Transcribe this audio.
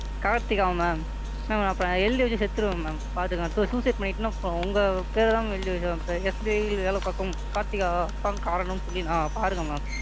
Karthika Ma'am ma'am அப்ப நான் எழுதி வெச்சுட்டு செத்துடுவேன் Ma'am பாத்துக்கோங்க உங்க பேர் தான் Ma'am எழுதி வெச்சு SBI யில் வேலை பார்க்கும் கார்த்திகா தான் காரணம்ன்னு சொல்லி பாருங்க Ma'am,